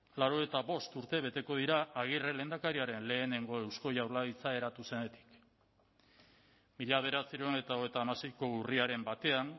laurogeita bost urte beteko dira agirre lehendakariaren lehenengo eusko jaurlaritza eratu zenetik mila bederatziehun eta hogeita hamaseiko urriaren batean